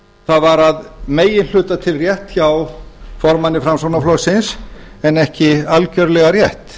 það var að meginhluta til rétt hjá formanni framsóknarflokksins en ekki algerlega rétt